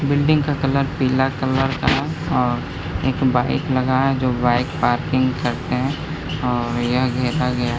Building का colour पीला colour का है और एक बाइक लगा है जो बाइक पार्किंग करते हैं और यह घेरा गया है।